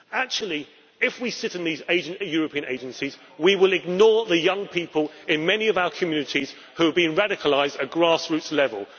Actually, if we sit in these European agencies, we will ignore the young people in many of our communities who have been radicalised at grassroots level.